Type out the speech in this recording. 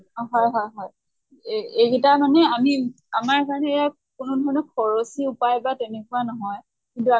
অ হয় হয় হয়। এহ এই গিতা মানে আমি আমাৰ কাৰণে এয়া কোনো ধৰণৰ খৰচী উপায় বা তেনেকুৱা নহয় কিন্তু